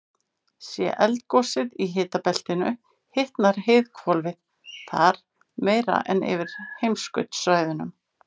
sé eldgosið í hitabeltinu hitnar heiðhvolfið þar meira en yfir heimskautasvæðunum